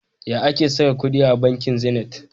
Ya ake saka kudi a banki Zenith?